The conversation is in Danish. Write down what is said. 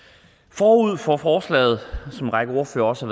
forud for forslaget er som en række ordførere også